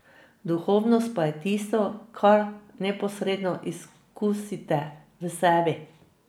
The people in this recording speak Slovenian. Duhovnost pa je tisto, kar neposredno izkusite v sebi.